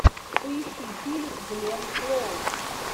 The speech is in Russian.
поищи фильм гленн клоуз